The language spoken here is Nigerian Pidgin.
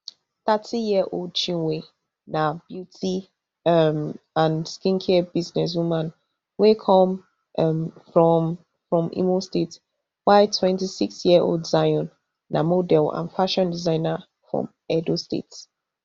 thirtyyearold chinwe na beauty um and skincare businesswoman wey come um from from imo state while twenty-sixyearold zion na model and fashion designer from edo state